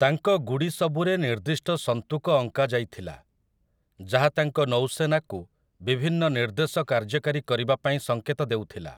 ତାଙ୍କ ଗୁଡ଼ି ସବୁରେ ନିର୍ଦ୍ଦିଷ୍ଟ ସନ୍ତୁକ ଅଙ୍କା ଯାଇଥିଲା, ଯାହା ତାଙ୍କ ନୌସେନାକୁ ବିଭିନ୍ନ ନିର୍ଦ୍ଦେଶ କାର୍ଯ୍ୟକାରୀ କରିବା ପାଇଁ ସଙ୍କେତ ଦେଉଥିଲା ।